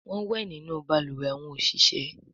Wón wẹ nínú balùwẹ̀ àwọn oṣiṣẹ